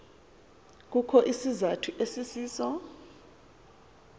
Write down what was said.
kukho isizathu esisiso